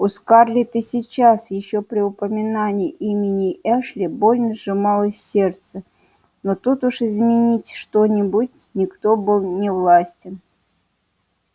у скарлетт и сейчас ещё при упоминании имени эшли больно сжималось сердце но тут уж изменить что-нибудь никто был не властен